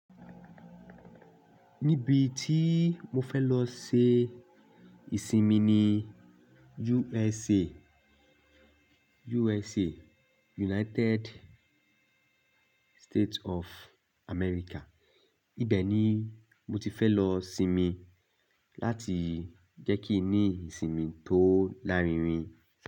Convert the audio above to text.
Níbi tí mo fẹ́ lọ ṣe ìsinmi ni USA. United State of America. Ibẹ̀ ni mo ti fẹ́ lọ sinmi láti jẹ́ kí n ní ìsinmi tó lárinrin.